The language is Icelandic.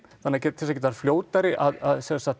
til þess að geta fljótari að